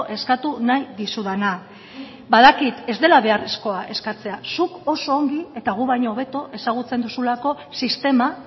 eskatu nahi dizudana badakit ez dela beharrezkoa eskatzea zuk oso ongi eta guk baino hobeto ezagutzen duzulako sistema